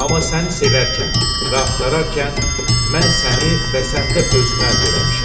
Amma səni sevərkən və axtararkən, mən səni və səndə özümü əldə eləmişəm.